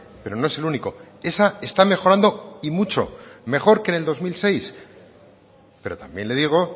pero no es el único esa está mejorando y mucho mejor que en el dos mil seis pero también le digo